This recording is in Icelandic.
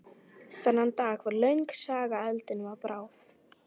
Þennan dag varð löng saga eldinum að bráð.